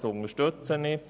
Das unterstützen wir.